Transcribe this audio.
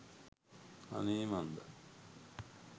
අනේ මන්දා